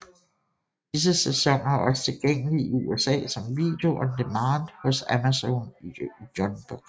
Disse sæsoner er også tilgængelige i USA som video on demand hos Amazon Unbox